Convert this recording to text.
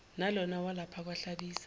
nalona walapha kwahlabisa